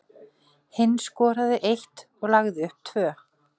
Hinn skoraði eitt og lagði upp tvö.